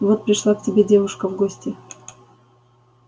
вот пришла к тебе девушка в гости